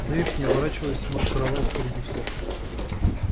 дейв не оборачиваясь маршировал впереди всех